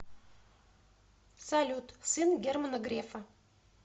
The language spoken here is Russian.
салют сын германа грефа